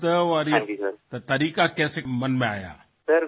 এই শব্দ এই প্ৰণালীৰ বিষয়ে আপোনাৰ মনলৈ কিদৰে চিন্তা আহিল